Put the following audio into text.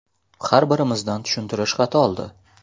Har birimizdan tushuntirish xati oldi.